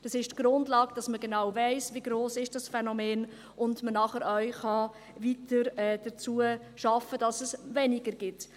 Das ist die Grundlage, damit man genau weiss, wie gross dieses Phänomen ist, sodass man nachher weiter daran arbeiten kann, damit es weniger gibt.